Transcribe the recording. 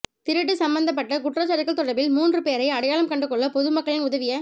திருட்டு சம்பந்தப்பட்ட குற்றச்சாட்டுகள் தொடர்பில் மூன்று பேரை அடையாளம் கண்டுகொள்ள பொதுமக்களின் உதவிய